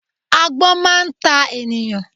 Agbón máa ta ènìyàn